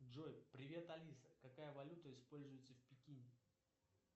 джой привет алиса какая валюта используется в пекине